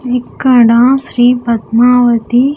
ఇక్కడ శ్రీ పద్మావతి.